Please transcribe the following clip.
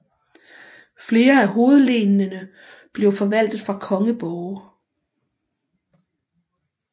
Flere af hovedlenene blev forvaltet fra kongeborge